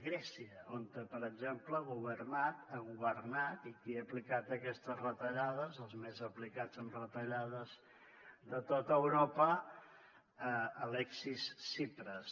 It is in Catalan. grècia on per exemple ha governat i ha aplicat aquestes retallades els més aplicats en retallades de tot europa alexis tsipras